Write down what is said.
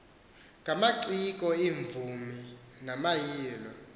ngamaciko iimvumi namayilo